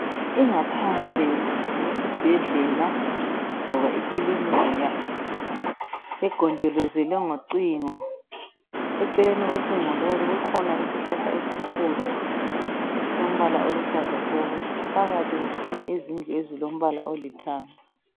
ingaphandle yesibhedlela loba ikilinika egonjelozelwe ngocingo eceleni kocingo lolu kukhona isihlahla esikhulu esilombala oluhlaza tshoko phakathi kukhanya izindlu ezilombala olithanga